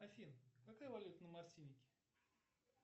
афин какая валюта на мартинике